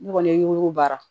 Ne kɔni ye o baara